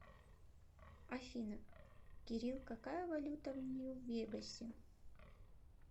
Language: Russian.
афина кирилл какая валюта в нью вегасе